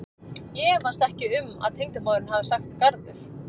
Ég efast ekki um að tengdamóðirin hafi sagt garður.